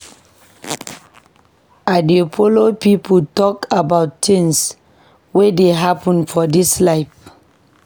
I dey like folo pipo tok about tins wey dey happen for dis life.